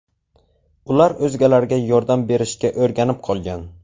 Ular o‘zgalarga yordam berishga o‘rganib qolgan.